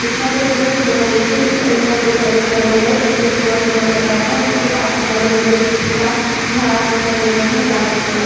इसमें अगल दूल थोला देखे तो इसमे जैसा दिखाई दे रहा है जिससे सुबह-सुबह का टाइम औ उसके पास में बड़े-बड़े तीन-चार झाड दिखाई दे रहे हैं लाइन से।